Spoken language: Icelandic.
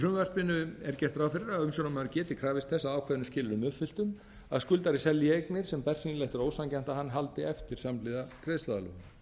frumvarpinu er gert ráð fyrir að umboðsmaður geti krafist þess að ákveðnum skilyrðum uppfylltum að skuldari selji eignir sem bersýnilega er ósanngjarnt að hann haldi eftir samhliða greiðsluaðlögun